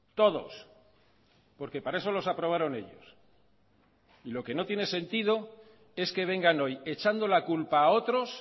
todos porque para eso los aprobaron ellos lo que no tiene sentido es que vengan hoy echando la culpa a otros